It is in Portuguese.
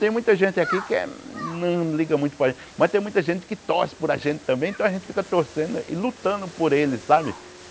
Tem muita gente aqui que é não liga muito para gente, mas tem muita gente que torce por a gente também, então a gente fica torcendo e lutando por eles, sabe?